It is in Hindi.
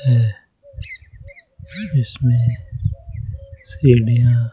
है इसमें सीढ़ियां--